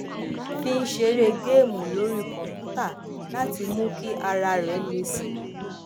fi ń ṣeré geemu orí kòǹpútà láti mú kí ara rè le sí i